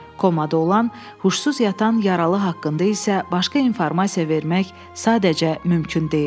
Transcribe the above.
Komada olan, huşsuz yatan yaralı haqqında isə başqa informasiya vermək sadəcə mümkün deyildi.